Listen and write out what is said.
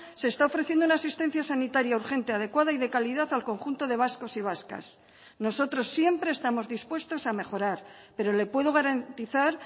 se está ofreciendo una asistencia sanitaria urgente adecuada y de calidad al conjunto de vascos y vascas nosotros siempre estamos dispuestos a mejorar pero le puedo garantizar